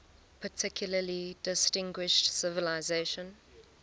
particularly distinguished civilization